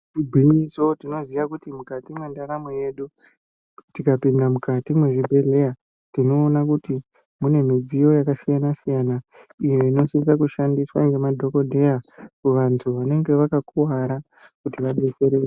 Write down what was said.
Igwinyiso tinoona kuti mukati mendaramo yedu tikapinda mukati mezvibhedhlera tinoona kuti mune midziyo Inosevesera iyo inosisa kushandiswa nemadhokoteya muntu unenge wakakuwara kuti vadetsereke.